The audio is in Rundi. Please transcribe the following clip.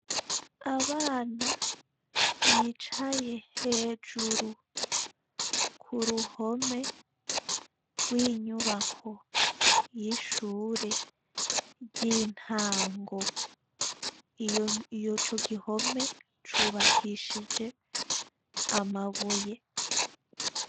Abana bicaye hejuru k'uruhome rw'inyubako y'ishuri ry'intango, ico gihome cubakishije amabuye.